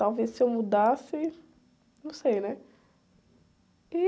Talvez se eu mudasse... Não sei, né?